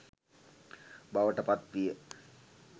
බවට පත්විය.